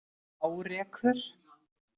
Hárekur